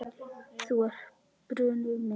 Þú ert brunnur minn.